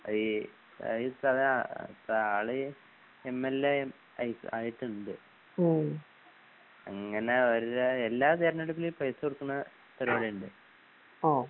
അതീ എംഎൽഎ അയ് ആയിട്ടിൻഡ്. അങ്ങനെ അവര്ടെ എല്ലാതെരഞ്ഞെടുപ്പിലും ഈപൈസകൊടുക്കണ പരുവാടിഇൻഡ്